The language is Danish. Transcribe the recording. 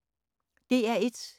DR1